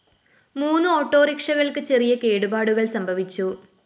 മൂന്ന് ഓട്ടോറിക്ഷകള്‍ക്ക് ചെറിയ കേടുപാടുകള്‍ സംഭവിച്ചു